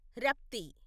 Rapti